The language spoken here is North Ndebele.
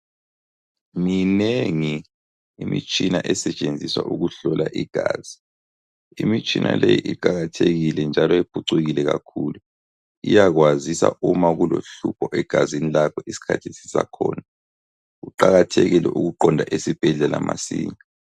Minengi imitshina esetshenziswa ukuhlola igazi. Imitshina leyo iqakathekile njalo iphucukile kakhulu. Iyakwazisa uma kulohlupho egazini lakho isikhathi sisakhona, Kuqakathekile ukuqonda esibhedlela masinya.